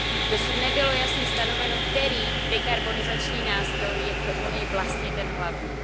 Dosud nebylo jasně stanoveno, který dekarbonizační nástroj je pro Unii vlastně ten hlavní.